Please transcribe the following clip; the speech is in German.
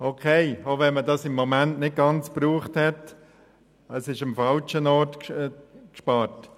Einverstanden, auch wenn man das Budget im Moment nicht vollumfänglich gebraucht hat, wird am falschen Ort gespart.